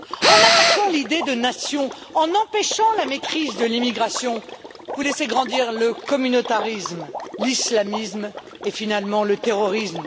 En attaquant l'idée de nation, en empêchant la maîtrise de l'immigration, vous laissez grandir le communautarisme, l'islamisme et finalement le terrorisme.